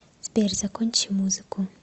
сбер закончи музыку